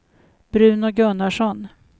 Bruno Gunnarsson